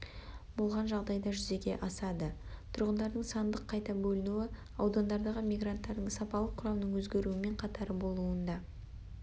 болған жағдайда жүзеге асады тұрғындардың сандық қайта бөлінуі аудандардағы мигранттардың сапалық құрамының өзгеруімен қатар болуында